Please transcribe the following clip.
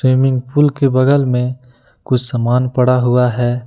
Swimming pool के बगल में कुछ सामान पड़ा हुआ है।